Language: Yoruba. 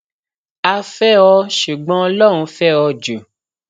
a fẹ o ṣùgbọn ọlọrun fẹ ò jù